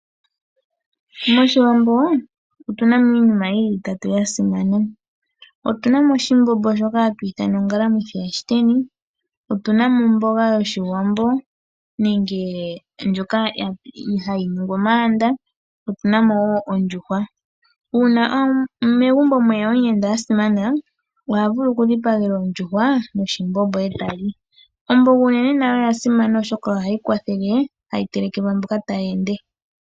Moshiwambo otuna mo iinima yili itatu mbyoka yasimana, otuna mo oshimbombo shoka hatu ithana ongalanithi yashiteni, otuna mo omboga yoshiwambo nenge ndyoka hayi ningwa omayanda otuna mo wo ondjuhwa. Una megumbo mweya omuyenda asimana oha vulu okudhipagelwa oondjuhwa noshimbombo eta li. Omboga unene nayo oyasimana oshoka ohayi telekelwa mboka taya ende.